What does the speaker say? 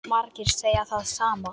Margir segja það sama.